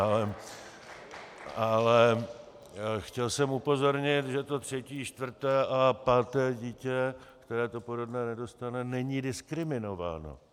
Ale chtěl jsem upozornit, že to třetí, čtvrté a páté dítě, které to porodné nedostane, není diskriminováno.